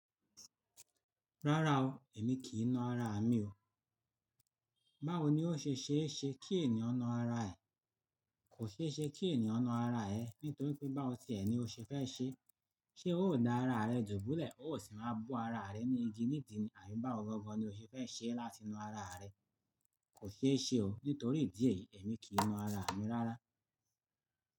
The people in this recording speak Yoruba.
Rárá o, èmi kì í na ara mi o. Báwo ni ó ṣe ṣe é ṣe kí ènìyàn na ara ẹ? Kò ṣe é ṣe kí ènìyàn na ara ẹ nítorí pé báwo tí ẹ̀ ni o ṣe fẹ́ ṣe. Ṣé ó dá ara rẹ dùbúlẹ̀, ó sì máa bo ara rẹ ní igi ní ìdí ni? Àbí báwo gangan ni o ṣe fẹ́ ṣe láti na ara rẹ? Kò ṣe é ṣe o nítorí ìdí èyí, èmi kì í na ara mi rárá.